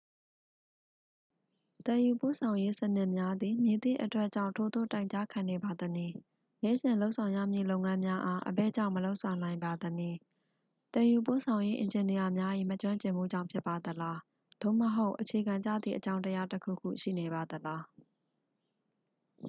သယ်ယူပို့ဆောင်ရေးစနစ်များသည် မည်သည့်အတွက်ကြောင့် ထိုသို့တိုင်ကြားခံနေပါသနည်း နေ့စဉ်လုပ်ဆောင်ရမည့်လုပ်ငန်းများအား အဘယ်ကြောင့်မလုပ်ဆောင်နိုင်ပါသနည် သယ်ယူပို့ဆောင်ရေးအင်ဂျင်နီယာများ၏ မကျွင်းကျင်မှုကြောင့် ဖြစ်ပါသလား သို့မဟုတ် အခြေခံကျသည့်အကြောင်းတရားတစ်ခုခု ရှိနေပါသလား